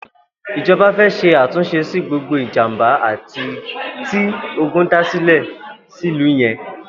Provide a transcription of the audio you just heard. Ijọbà fè ṣé àtúnṣé si gbógbó ijàmbá ti ógùn dàsilẹ̀ silú yèn